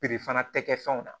fana tɛ kɛ fɛnw na